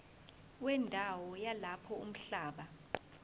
wendawo yalapho umhlaba